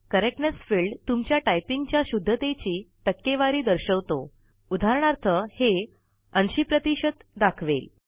correctness field तुमच्या typing च्या शुद्धतेची टक्केवारी दर्शवतोउदाहरणार्थ हे ८० प्रतिशत दाखवेल